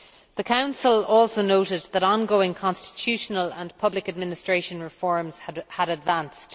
The Council also noted that ongoing constitutional and public administration reforms had advanced.